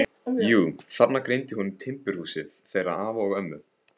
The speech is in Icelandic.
Jú, þarna greindi hún timburhúsið þeirra afa og ömmu.